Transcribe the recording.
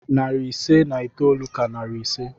Narị ise na itoolu ka narị ise.